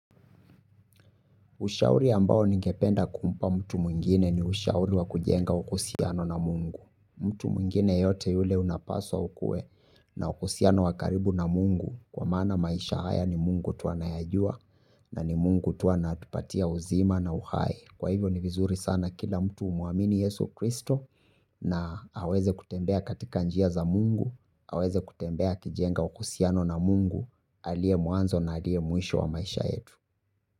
Ushauri ambao ningependa kumpa mtu mwingine ni ushauri wa kujenga uhusiano na mungu. Mtu mwingine yeyote yule unapaswa ukuwe na uhusiano wa karibu na mungu. Kwa maana maisha haya ni mungu tu anayajua na ni mungu tu anatupatia uzima na uhai. Kwa hivyo ni vizuri sana kila mtu umuamini yesu kristo na aweze kutembea katika njia za mungu. Aweze kutembea akijenga uhusiano na mungu. Aliye mwanzo na aliye mwisho wa maisha yetu.